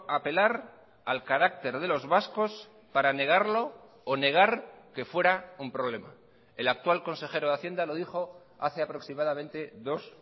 a apelar al carácter de los vascos para negarlo o negar que fuera un problema el actual consejero de hacienda lo dijo hace aproximadamente dos